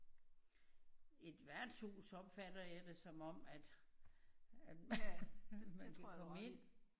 Et værtshus opfatter jeg det som om at at man kan komme ind